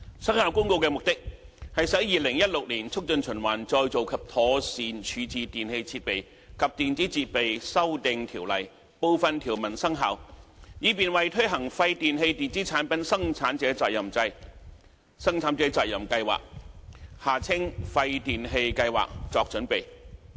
《生效公告》的目的，是使《2016年促進循環再造及妥善處置條例》部分條文生效，以便為推行廢電器電子產品生產者責任計劃作準備。